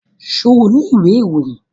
Ṣo ní ìwé ìròyìn?